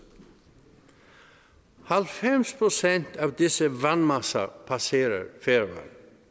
halvfems procent af disse vandmasser passerer færøerne